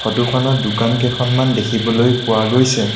ফটোখনত দোকান কেইখনমান দেখিবলৈ পোৱা গৈছে।